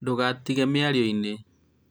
ndũgatĩre mĩarioinĩ